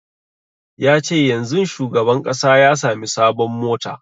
Ya ce yanzun shugaban ƙasa ya sami sabon mota